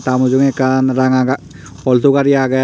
ta mujungey ekkan ranga ga altu gari agey.